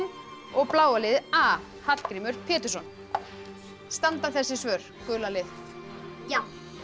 og bláa liðið a Hallgrímur Pétursson standa þessi svör gula lið já